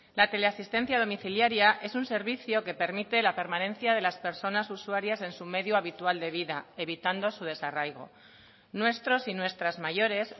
la teleasistencia domiciliaria es un servicio que permite la permanencia de las personas usuarias en su medio habitual de vida evitando su desarraigo nuestros y nuestras mayores